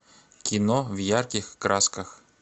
кино в ярких красках